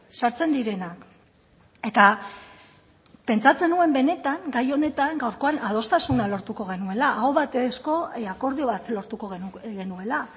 sartzen direnak eta pentsatzen nuen benetan gai honetan gaurkoan adostasuna lortuko genuela aho batezko akordio bat lortuko genuela